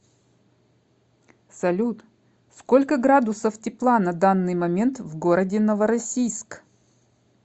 салют сколько градусов тепла на данный момент в городе новороссийск